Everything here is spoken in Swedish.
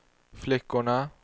flickorna